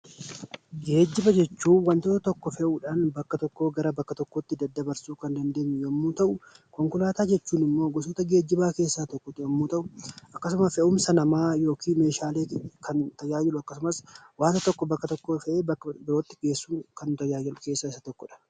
Geejjiba jechuun wantoota tokko fe'uudhaan bakka tokkoo gara bakka tokkootti daddabarsuu kan dandeenye yoo ta'u, konkolaataa jechuun immoo gosoota geejjibaa keessaa tokko ta'ee akkasumas fe'umsa namaa yookiin meeshaaleetiif kan tajaajiludha. Akkasumas wanti tokko bakka tokkoo ka'ee bakka biraatti geessuuf kan tajaajiludha.